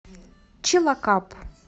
чилакап